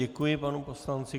Děkuji panu poslanci.